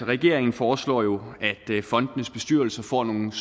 regeringen foreslår at fondenes bestyrelser får nogle